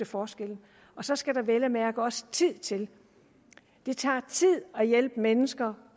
forskellene så skal der vel at mærke også tid til det tager tid at hjælpe mennesker